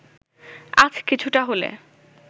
আজ কিছুটা হলে